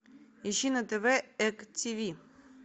ищи на тв эк тв